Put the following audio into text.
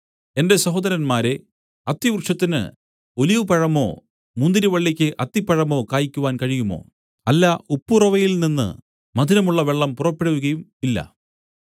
എന്റെ സഹോദരന്മാരേ അത്തിവൃക്ഷത്തിന് ഒലിവുപഴമോ മുന്തിരിവള്ളിക്ക് അത്തിപ്പഴമോ കായിക്കുവാൻ കഴിയുമോ അല്ല ഉപ്പുറവയിൽനിന്ന് മധുരമുള്ള വെള്ളം പുറപ്പെടുകയുമില്ല